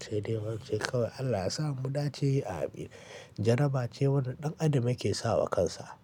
Sai dai don ce kawai Allah ya sa mu dace amin. Jaraba ce wannan ɗan adam yake sa wa kansa.